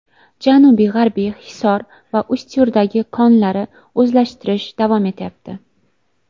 Janubi-g‘arbiy Hisor va Ustyurtdagi konlarni o‘zlashtirish davom etyapti.